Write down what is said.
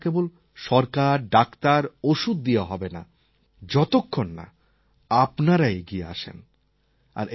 কিন্তু এটা কেবল সরকার ডাক্তার ওষুধ দিয়ে হবে না যতক্ষণ না আপনারা এগিয়ে আসেন